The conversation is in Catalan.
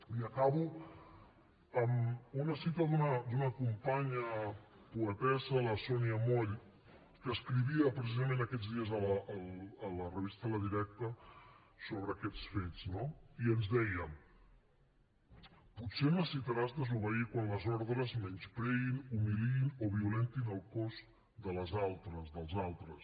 i acabo amb una cita d’una companya poetessa la sònia moll que escrivia precisament aquests dies a la revista la directa ser necessitaràs desobeir quan les ordres menyspreïn humiliïn o violentin el cos de les altres dels altres